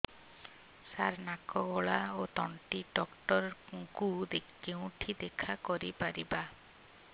ସାର ନାକ ଗଳା ଓ ତଣ୍ଟି ଡକ୍ଟର ଙ୍କୁ କେଉଁଠି ଦେଖା କରିପାରିବା